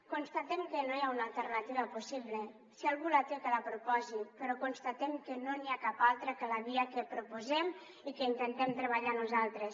constatem que no hi ha una alternativa possible si algú la té que la proposi però constatem que no n’hi ha cap altra que la via que proposem i que intentem treballar nosaltres